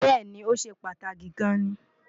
bẹ́ẹ̀̀ni, ó ṣe pàtàkì gan-an ni